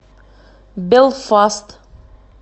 белфаст